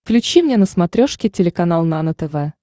включи мне на смотрешке телеканал нано тв